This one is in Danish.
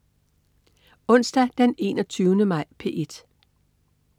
Onsdag den 21. maj - P1: